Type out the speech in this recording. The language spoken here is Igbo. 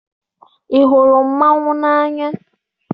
Ị hụrụ mmanwụ n'anya?